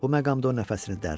Bu məqamda o nəfəsini dərdi.